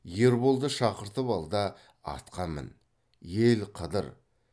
ерболды шақыртып ал да атқа мін ел қыдыр